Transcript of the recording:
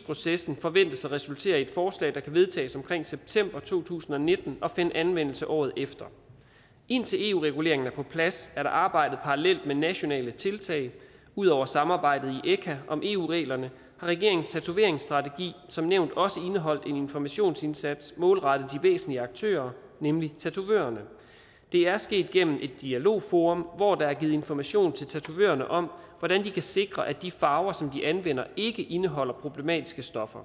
processen forventes at resultere i et forslag der kan vedtages omkring september to tusind og nitten og finde anvendelse året efter indtil eu reguleringen er på plads er der arbejdet parallelt med nationale tiltag ud over samarbejdet i echa om eu reglerne har regeringens tatoveringsstrategi som nævnt også indeholdt en informationsindsats målrettet de væsentlige aktører nemlig tatovørerne det er sket gennem et dialogforum hvor der er givet information til tatovørerne om hvordan de kan sikre at de farver som de anvender ikke indeholder problematiske stoffer